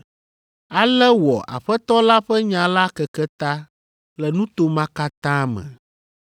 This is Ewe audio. Ale wɔ Aƒetɔ la ƒe nya la keke ta le nuto ma katã me.